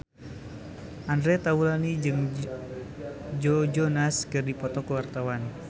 Andre Taulany jeung Joe Jonas keur dipoto ku wartawan